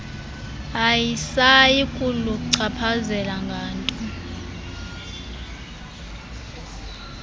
ayisayi kuluchaphazela nganto